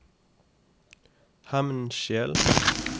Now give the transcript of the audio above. Hemnskjel